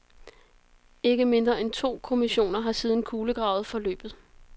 Ikke mindre end to kommissioner har siden kulegravet forløbet.